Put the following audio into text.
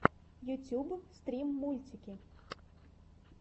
ютьюб стрим мультики